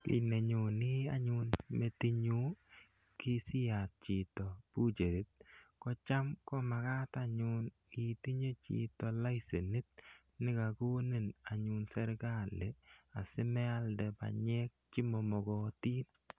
Ki nenyone anyun metitnyu asiiyat chito butchery ko cham makat itinye anyun chito laisenit ne kakonin anyun serkali asimealde panyek che ma makatin.